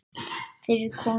Fyrir konur.